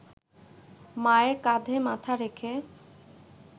মায়ের কাঁধে মাথা রেখে